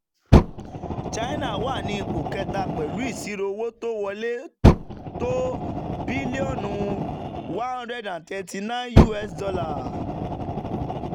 china wà ní ipò kẹta pẹ̀lú ìṣírò owó tó wọlé tó bílíọ̀nù us$139.